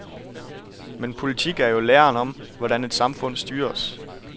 Men politik er jo læren om, hvordan et samfund styres.